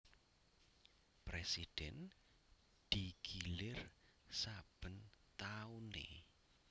Prèsidhén digilir saben tauné